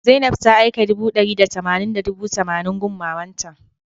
Zainab ta aika dubu d'ari da tamanin da dubu tamanin gun mamanta